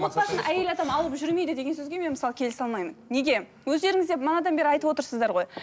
отбасын әйел адам алып жүрмейді деген сөзге мен мысалы келісе алмаймын неге өздеріңіз де бері айтып отырсыздар ғой